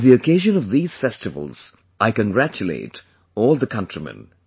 On the occasion of these festivals, I congratulate all the countrymen